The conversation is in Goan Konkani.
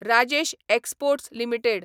Rajesh exports limited